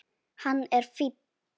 Hann er fínn.